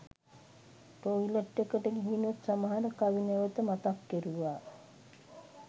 toilet එකට ගිහිනුත් සමහර කවි නැවත මතක් කෙරුවා